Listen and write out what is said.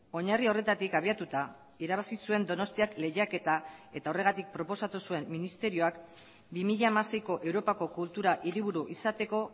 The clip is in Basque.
oinarri horretatik abiatuta irabazi zuen donostiak lehiaketa eta horregatik proposatu zuen ministerioak bi mila hamaseiko europako kultura hiriburu izateko